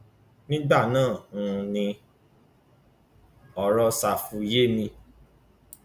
nígbà náà um ni ọrọ ṣáfù yé mi